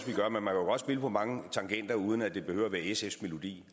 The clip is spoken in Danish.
også vi på mange tangenter uden at det behøver at være sfs melodi